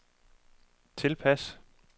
tilpas